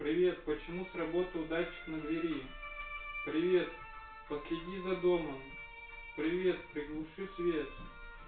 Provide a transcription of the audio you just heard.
привет почему сработал датчик на двери привет последи за домом привет приглуши свет